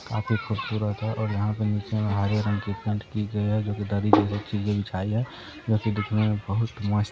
यहाँ काफी खूबसूरत और यहाँ पर नीचे हरे रंग की पेंट की गई है जो की दरी जैसी बिछाई है जो की दिखने में बहुत मस्त --